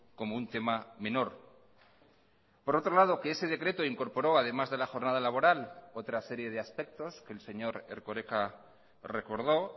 como un tema menor por otro lado que ese decreto incorporó además de la jornada laboral otra serie de aspectos que el señor erkoreka recordó